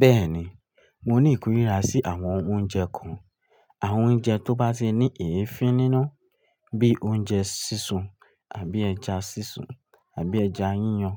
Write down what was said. Bẹ́ẹ̀ni, mo ní ìkórìíra sí àwọn oúnjẹ kan. Àwọn oúnjẹ tó bá ti ní èéfín nínú bí i oúnjẹ sísun àbí ẹja sísun àbí ẹja yíyan